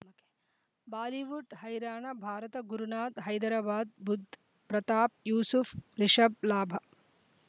Bollywood ಹೈರಾಣ ಭಾರತ ಗುರುನಾಥ ಹೈದರಾಬಾದ್ ಬುಧ್ ಪ್ರತಾಪ್ ಯೂಸುಫ್ ರಿಷಬ್ ಲಾಭ